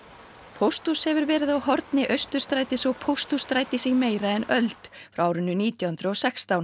pósthús hefur verið á horni Austurstrætis og Pósthússtrætis í meira en öld frá árinu nítján hundruð og sextán